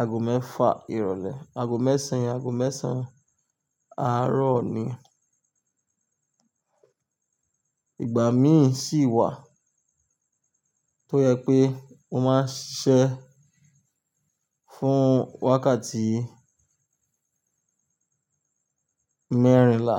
aago mẹ́fà ìrọ̀lẹ́. Aago mẹ́sàn-án, aago mẹ́sàn-án àárọ̀ ni. Ìgbà mí ì sì wà tó yẹ pé mo máa ṣiṣẹ́ fún wákàtí mẹ́rìnlá.